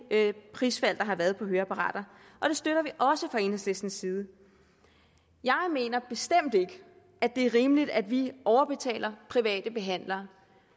prisfald der har været på høreapparater og det støtter vi også fra enhedslistens side jeg mener bestemt ikke at det er rimeligt at vi overbetaler private behandlere